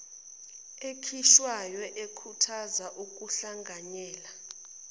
ekhishwayo ekhuthaza ukuhlanganyela